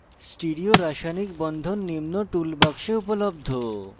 stereo রাসায়নিক বন্ধন নিম্ন tool box উপলব্ধ